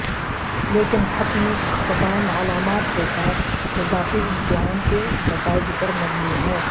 لیکن حتمی اختتام علامات کے ساتھ اضافی امتحان کے نتائج پر مبنی ہے